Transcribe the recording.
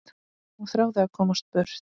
Hún þráði að komast burt.